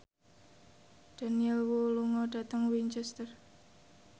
Daniel Wu lunga dhateng Winchester